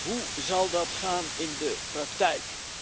Hoe zal dat gaan in de praktijk?